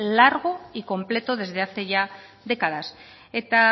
largo y completo desde hace ya décadas eta